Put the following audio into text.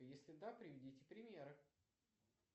если да приведите примеры